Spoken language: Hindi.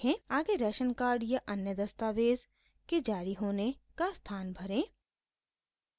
आगे राशन कार्ड या अन्य दस्तावेज़ के जारी होने का स्थान भरें